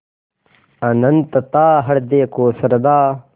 अनंतता हृदय को श्रद्धा